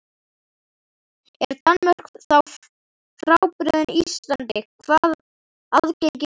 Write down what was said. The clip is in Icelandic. Er Danmörk þá frábrugðin Íslandi hvað aðgengi varðar?